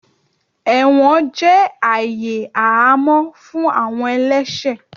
Ẹwọn jẹ aayè àhamọ fún awọn ẹlẹṣẹ.